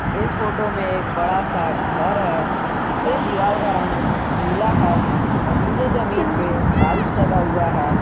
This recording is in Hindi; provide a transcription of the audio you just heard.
इस फोटो में एक बड़ा सा घर है जिसके दीवाल का रंग नीला है और नीचे जमीन पे टाइल्स लगा हुआ है।